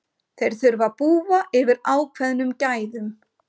Þeir þurfa að búa yfir ákveðnum gæðum.